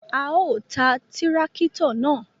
A o tá tìràkitọ naa